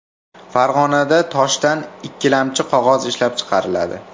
Farg‘onada toshdan ikkilamchi qog‘oz ishlab chiqariladi.